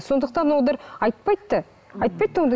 сондықтан олар айтпайды да айтпайды да ондай